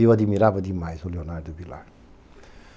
E eu admirava demais o Leonardo Vilar.